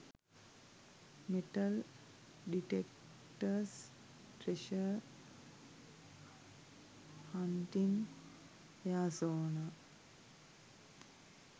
metal detectors treasure hunting arizona